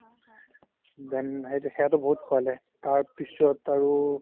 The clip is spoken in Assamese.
then সেইটো সেয়াতো বহুত খোৱালে তাৰপিছত আৰু